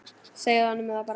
Segðu honum það bara!